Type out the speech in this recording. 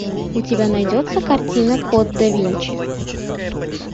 у тебя найдется картина код да винчи